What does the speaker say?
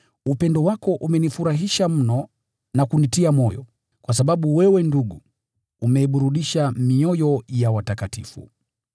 Upendo wako umenifurahisha mno na kunitia moyo, kwa sababu wewe ndugu, umeiburudisha mioyo ya watakatifu.